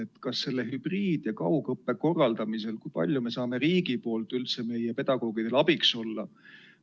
Kui palju saab riik hübriid- ja kaugõppe korraldamisel meie pedagoogidele abiks olla?